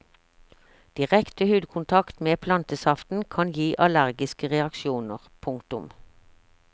Direkte hudkontakt med plantesaften kan gi allergiske reaksjoner. punktum